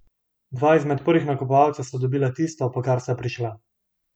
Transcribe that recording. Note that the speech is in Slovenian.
Dva izmed prvih nakupovalcev sta dobila tisto, po kar sta prišla.